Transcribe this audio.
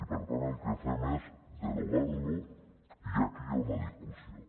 i per tant el que fem és derogar lo i aquí hi ha una discussió